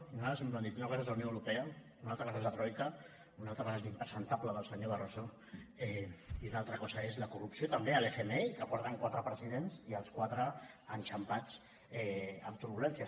i nosaltres sempre hem dit una cosa és la unió europea una altra cosa és la troica una altra cosa és l’impresentable del senyor barroso i una altra cosa és la corrupció també a l’fmi que porten quatre presidents i els quatre enxampats amb turbulències